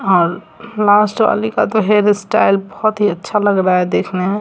और लास्ट वाली का तो हेयर स्टाइल बहोत अच्छा लग रहा है देखने में।